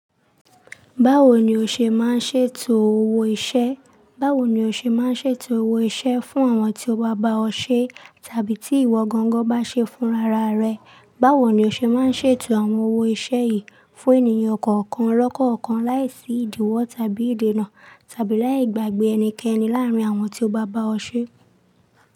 Báwo ni o ṣe máa ń ṣètò owó iṣẹ́? Báwo ni o ṣe máa ń ṣètò owó iṣẹ́ fún àwọn tí ó bá bá ọ ṣe tàbí tí ìwọ gangan bá ṣe fún rara rẹ? Báwo ni o ṣe máa ń ṣètò àwọn owó iṣẹ́ yìí fún ènìyàn kọ̀ọ̀kan lọ́kọ̀ọ̀kan láìsí ìdíwọ́ tàbí ìdènà tàbí láì gbàgbé ẹnikẹ́ni láàrín àwọn tí ó bá bá ọ ṣe?